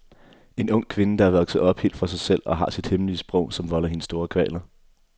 En ung kvinde, der er vokset op helt for sig selv og har sit eget hemmelige sprog, som volder hende store kvaler.